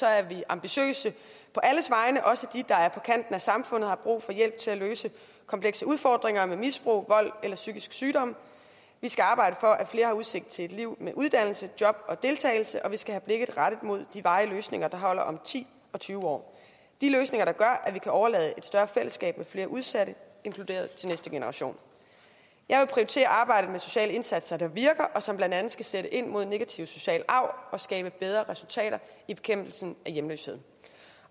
er vi ambitiøse på alles vegne også de der er på kanten af samfundet og har brug for hjælp til at løse komplekse udfordringer med misbrug vold eller psykisk sygdom vi skal arbejde for at flere har udsigt til et liv med uddannelse job og deltagelse og vi skal have blikket rettet mod de varige løsninger der holder om ti og tyve år de løsninger der gør at vi kan overlade et større fællesskab hvor flere udsatte er inkluderet til næste generation jeg vil prioritere arbejdet med sociale indsatser der virker og som blandt andet skal sætte ind mod negativ social arv og skabe bedre resultater i bekæmpelsen af hjemløshed